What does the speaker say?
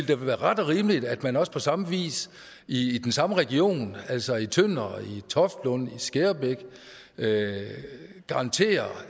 da være ret og rimeligt at man også på samme vis i den samme region altså i tønder i toftlund og i skærbæk garanterer